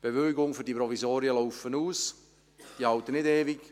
Die Bewilligungen für die Provisorien laufen aus, diese halten nicht ewig.